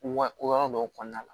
Wa ko yɔrɔ dɔw kɔnɔna la